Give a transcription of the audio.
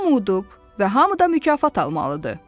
Hamı udub və hamı da mükafat almalıdır.